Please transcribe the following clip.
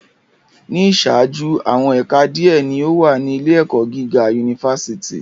Ni iṣaaju, awọn ẹka diẹ ni o wa ni ile-ẹkọ giga unifásitì